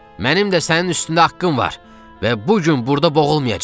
Mənim də sənin üstündə haqqım var və bu gün burda boğulmayacam.